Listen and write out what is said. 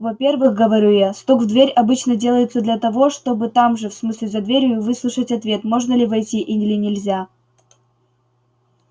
во-первых говорю я стук в дверь обычно делается для того чтобы там же в смысле за дверью выслушать ответ можно ли войти или нельзя